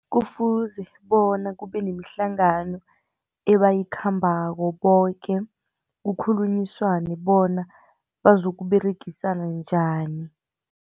Kufuze bona kubenemihlangano, ebayikhambako boke, kukhulunyiswane bona bazokuberegisana njani.